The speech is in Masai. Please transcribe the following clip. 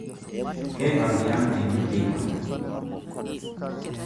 Keipang' tiang' tena teipa